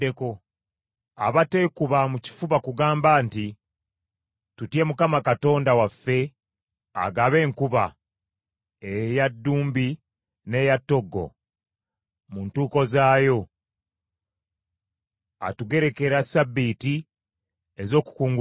Abateekuba mu kifuba kugamba nti, ‘Tutye Mukama Katonda waffe agaba enkuba, eya ddumbi n’eya ttoggo, mu ntuuko zaayo; atugerekera ssabbiiti ez’okukunguliramu.’ ”